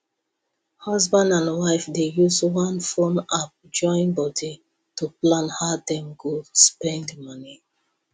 husband and wife dey use one phone app join body to plan how dem go spend money